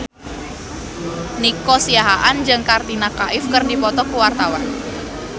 Nico Siahaan jeung Katrina Kaif keur dipoto ku wartawan